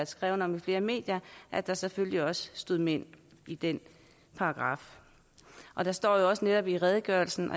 skrevet om i flere medier at der selvfølgelig også stod mænd i den paragraf der står jo også netop i redegørelsen